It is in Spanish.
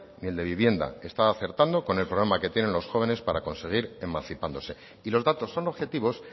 ni el de vivienda está acertando con el programa que tienen los jóvenes para conseguir emancipándose y los datos son objetivos